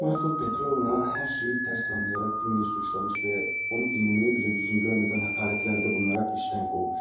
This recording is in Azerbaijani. Marfa Petrovna hər şeyi tərs anlayaraq Dunyanı suçlamış və onu dinləməyə belə lüzum görmədən həqarətlərdə bulunaraq işdən qovmuş.